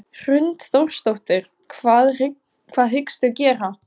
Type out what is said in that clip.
Hrund Þórsdóttir: Hvað hyggstu gera?